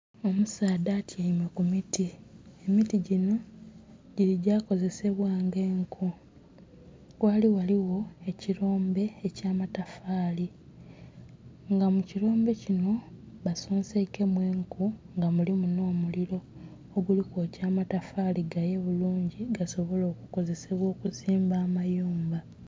Omusaadha atyaime ku miti, emiti gino gili gya kozesebwa ng'enku. Ghaali ghaligho ekirombe eky'amatafaali, nga mu kirombe kino basoseinkemu enku nga mulimu nh'omuliro, oguli kwokya amatafaali gaye bulungi gasobole okukozesebwa okuzimba amayumba.